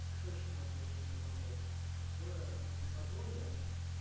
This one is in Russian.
что ещё можно найти из табаков в лиссабоне